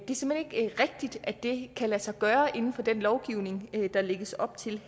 rigtigt at det kan lade sig gøre inden for den lovgivning der lægges op til